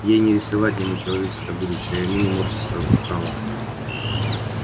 ей не рисовать ему человеческое будущее а ему не морщиться устало